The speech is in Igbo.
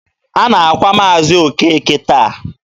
A na-akwa Maazi Okeke taa.